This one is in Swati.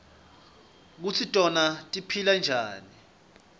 kutsi tona tiphila njani